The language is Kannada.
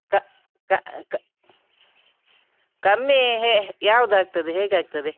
ಕ~ ಕ~ ಕ~ ಕಮ್ಮಿ ಹೇ ಯಾವ್ದಾಗ್ತದೆ ಹೇಗಾಗ್ತದೆ?